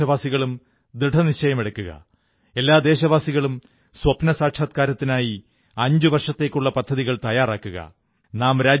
എല്ലാ ദേശവാസികളും ദൃഢനിശ്ചയമെടുക്കുക എല്ലാ ദേശവാസികളും സ്വപ്നസാക്ഷാത്കാരത്തിനായി 5 വർഷത്തേക്കുള്ള പദ്ധതികൾ തയ്യാറാക്കുക